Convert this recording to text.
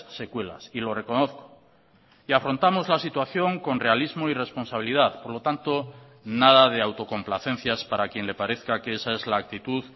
secuelas y lo reconozco y afrontamos la situación con realismo y responsabilidad por lo tanto nada de autocomplacencias para quien le parezca que esa es la actitud